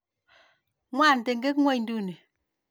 Ng'wan teket ng'ung' ii?